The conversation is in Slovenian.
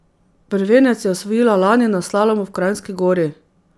Prvenec je osvojila lani na slalomu v Kranjski Gori.